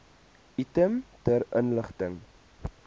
item ter inligting